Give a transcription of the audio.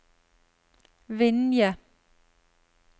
Vinje